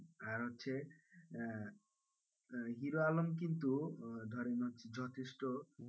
আর হচ্ছে আহ হিরো আলম কিন্তু ধরেন হচ্ছে যথেষ্ট,